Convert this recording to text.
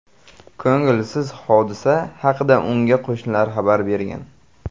Ko‘ngilsiz hodisa haqida unga qo‘shnilari xabar bergan.